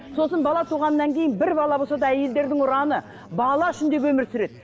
сосын бала туғаннан кейін бір бала болса да әйелдердің ұраны бала үшін деп өмір сүреді